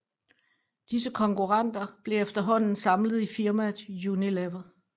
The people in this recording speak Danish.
Disse konkurrenter blev efterhånden samlet i firmaet Unilever